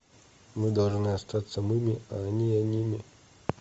мы должны остаться мыми а они оними